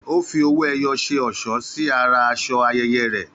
Ó fi owó ẹyọ ṣe ọ̀ṣọ́ sí ara aṣọ ayẹyẹ rẹ